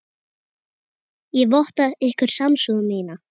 Ég votta ykkur samúð mína.